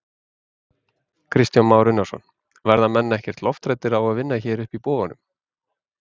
Kristján Már Unnarsson: Verða menn ekkert lofthræddir á að vinna hér uppi í boganum?